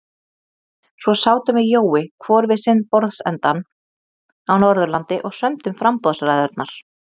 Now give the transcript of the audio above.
Svo sátum við Jói hvor við sinn borðsendann á Norðurlandi og sömdum framboðsræðurnar.